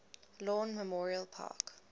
lawn memorial park